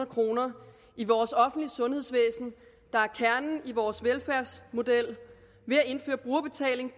kroner i vores offentlige sundhedsvæsen der er kernen i vores velfærdsmodel ved at indføre brugerbetaling